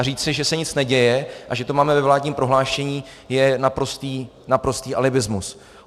A říci, že se nic neděje a že to máme ve vládním prohlášení, je naprostý alibismus.